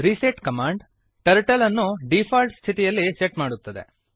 reset command turtle ಅನ್ನು default ಸ್ಥಿತಿಯಲ್ಲಿ set ಮಾಡುತ್ತದೆ